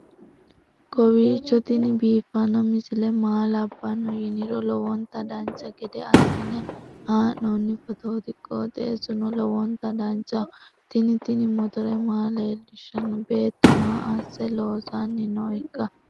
kowiicho tini biiffanno misile maa labbanno yiniro lowonta dancha gede assine haa'noonni foototi qoxeessuno lowonta danachaho. tini tini motore maa leellishshanno beettu maa asse loosanni nooikka